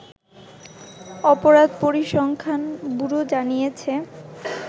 অপরাধ পরিসংখ্যান ব্যুরো জানিয়েছে